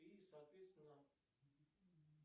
и соответственно